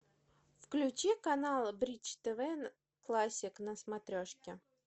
включи канал бридж тв классик на смотрешке